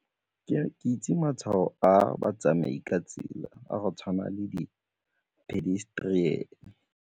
Ke itse matshwao a batsamai ka tsela a go tshwana le di-pedestrian.